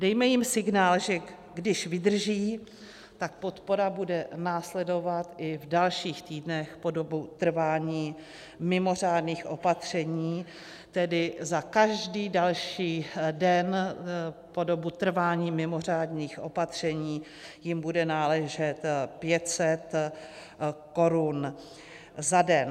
Dejme jim signál, že když vydrží, tak podpora bude následovat i v dalších týdnech po dobu trvání mimořádných opatření, tedy za každý další den po dobu trvání mimořádných opatření jim bude náležet 500 korun za den.